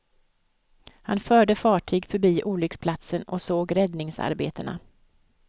Han förde fartyg förbi olycksplatsen och såg räddningsarbetena.